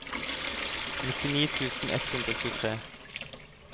nittini tusen ett hundre og tjuetre